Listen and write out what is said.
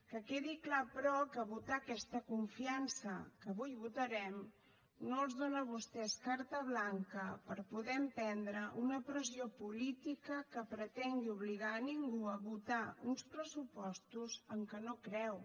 que quedi clar però que votar aquesta confiança que avui votarem no els dóna a vostès carta blanca per poder emprendre una pressió política que pretengui obligar ningú a votar uns pressupostos en què no creu